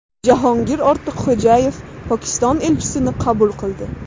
Jahongir Ortiqxo‘jayev Pokiston elchisini qabul qildi.